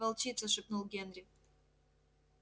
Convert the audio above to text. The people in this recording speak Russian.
волчица шепнул генри